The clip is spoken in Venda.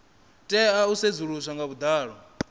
tea u sedzuluswa nga vhuḓalo